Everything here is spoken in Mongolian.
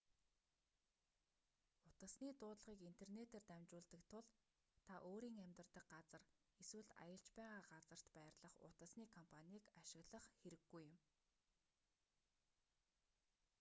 утасны дуудлагыг интернетээр дамжуулдаг тул та өөрийн амьдардаг газар эсвэл аялж байгаа газарт байрлах утасны компанийг ашиглах хэрэггүй юм